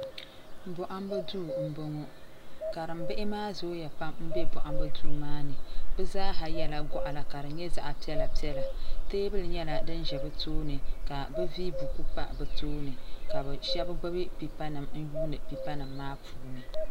bɔhibu do n bɔŋɔ karimɛ bihi maa zuya pam bɛ bɔhibu do maani bɛ zaa yɛla goɣila ka nyɛ zaɣ' piɛli piɛlla tɛbuli nyɛla di ʒɛ bi tuuni ka be vɛyi buku pa bɛ tuuni ka bɛ shɛbi gbabi pɛpanim n yuni di puuni